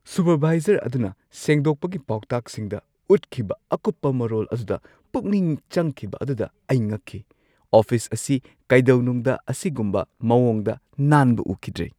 Supervisor ꯑꯗꯨꯅ ꯁꯦꯡꯗꯣꯛꯄꯒꯤ ꯄꯥꯎꯇꯥꯛꯁꯤꯡꯗ ꯎꯠꯈꯤꯕ ꯑꯀꯨꯞꯄ ꯃꯔꯣꯜ ꯑꯗꯨꯗ ꯄꯨꯛꯅꯤꯡ ꯆꯪꯈꯤꯕ ꯑꯗꯨꯗ ꯑꯩ ꯉꯛꯈꯤ꯫ ꯑꯣꯐꯤꯁ ꯑꯁꯤ ꯀꯩꯗꯧꯅꯨꯡꯗ ꯑꯁꯤꯒꯨꯝꯕ ꯃꯑꯣꯡꯗ ꯅꯥꯟꯕ ꯎꯈꯤꯗ꯭ꯔꯤ!